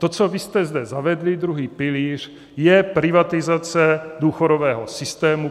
To, co vy jste zde zavedli, druhý pilíř, je privatizace důchodového systému.